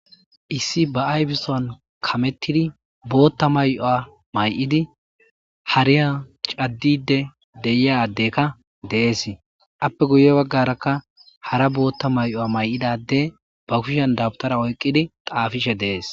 Issi ba aybisoan kamettidi bootta mayoa may7idi hariya caddide deyiyadekka dees appe guye baggarakka hara bootta may7oa may7idade ba kushen dabutara oyqqidi qaafishe dees.